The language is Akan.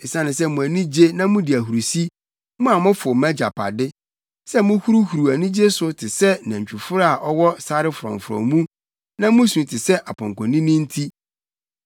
“Esiane sɛ mo ani gye na mudi ahurusi, mo a mofow mʼagyapade, sɛ muhuruhuruw anigye so te sɛ nantwiforo a ɔwɔ sare frɔmfrɔm mu na musu te sɛ apɔnkɔnini nti,